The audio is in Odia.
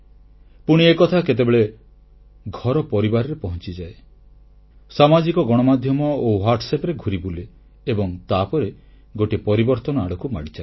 ପୁଣି ଏକଥା କେତେବେଳେ ଘର ପରିବାରରେ ପହଂଚିଯାଏ ସାମାଜିକ ଗଣମାଧ୍ୟମ ଓ WhatsApp ରେ ଘୂରିବୁଲେ ଏବଂ ତାପରେ ଗୋଟିଏ ପରିବର୍ତ୍ତନ ଆଡ଼କୁ ମାଡ଼ିଚାଲେ